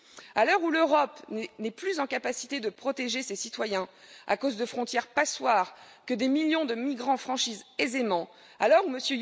À l'heure où l'Europe n'est plus en capacité de protéger ses citoyens à cause de frontières passoires que des millions de migrants franchissent aisément, à l'heure où M.